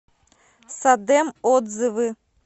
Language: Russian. садэм отзывы